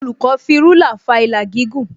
Olùkọ́ fi rúlà fa ìlà gígùn